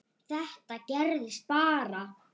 Þetta gerðist bara?!